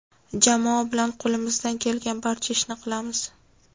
Jamoa bilan qo‘limizdan kelgan barcha ishni qilamiz.